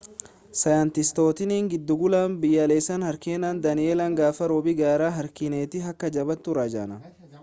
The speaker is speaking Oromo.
saayintistootni giddugala biyyaalessaa hariikeen daani'eel gaafa roobi gara hariikeenitti akka jabaatu raajan